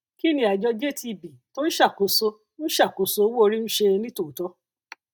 kí ni àjọ jtb tó ń ṣàkóso ń ṣàkóso owó orí ń ṣe ní tòótọ